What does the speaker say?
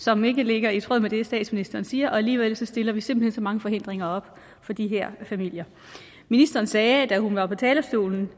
som ikke ligger i tråd med det statsministeren siger og alligevel stiller vi simpelt hen så mange forhindringer op for de her familier ministeren sagde da hun var på talerstolen